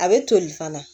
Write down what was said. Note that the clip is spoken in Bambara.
A bɛ toli fana